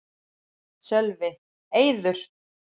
Sölvi: Eiður?